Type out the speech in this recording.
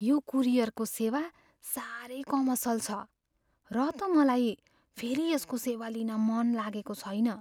यो कुरियरको सेवा सारै कमसल छ र त मलाई फेरि यसको सेवा लिन मन लागेको छैन।